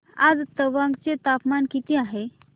आज तवांग चे तापमान किती आहे